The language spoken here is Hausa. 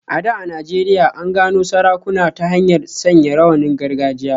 A da a Najeriya, an gano sarakuna ta hanyar sanya rawanin gargajiya.